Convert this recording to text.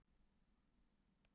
Grótta sótti stig til Akureyrar